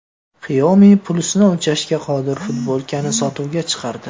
Xiaomi pulsni o‘lchashga qodir futbolkani sotuvga chiqardi.